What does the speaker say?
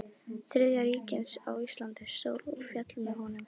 Þriðja ríkisins á Íslandi stóð og féll með honum.